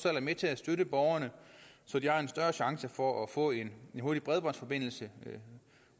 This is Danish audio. er med til at støtte borgerne så de har en større chance for at få en hurtig bredbåndsforbindelse